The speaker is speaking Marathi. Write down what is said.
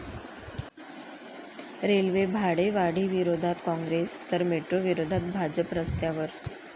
रेल्वे भाडेवाढीविरोधात काँग्रेस तर मेट्रोविरोधात भाजप रस्त्यावर